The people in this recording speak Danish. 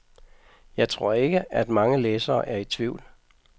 Jeg tror ikke, at mange læsere er i tvivl.